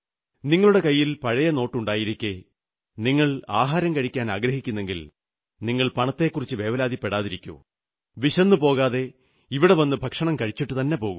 നിങ്ങളുടെ കൈയിൽ പഴയ നോട്ടുണ്ടായിരിക്കെ നിങ്ങൾ ആഹാരം കഴിക്കാനാഗ്രഹിക്കുന്നെങ്കിൽ നിങ്ങൾ പണത്തെക്കുറിച്ച് വേവലാതിപ്പെടാതിരിക്കൂ വിശന്നു പോകാതെ ഇവിടെ നിന്നു ഭക്ഷണം കഴിച്ചിട്ടുതന്നെ പോകൂ